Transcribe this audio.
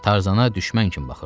Tarzana düşmən kimi baxırdı.